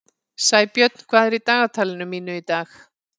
Sæbjörn, hvað er í dagatalinu mínu í dag?